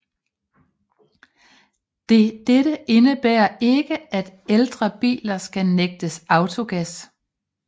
Dette indebærer ikke at ældre biler skal nægtes autogas